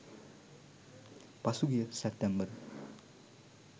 පසුගිය සැප්තැම්බර්